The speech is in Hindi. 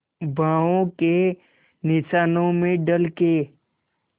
बाहों के निशानों में ढल के